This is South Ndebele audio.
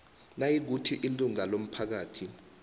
nayikuthi ilunga lomphakathi